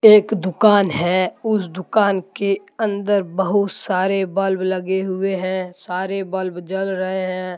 एक दुकान है उस दुकान के अंदर बहुत सारे बल्ब लगे हुए हैं सारे बल्ब जल रहे हैं।